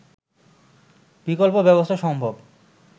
বিকল্প ব্যবস্থা সম্ভব